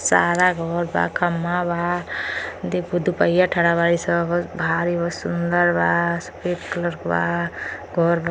सारा घर बा खम्भा बा देखो दु पहिया ठड़ाबाड़िन स भारी बा सुन्दर बा सफेद कलर के बा घर बा।